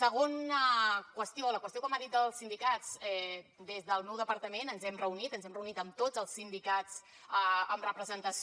segona qüestió la qüestió que m’ha dit dels sindicats des del meu departament ens hi hem reunit ens hem reunit amb tots els sindicats amb representació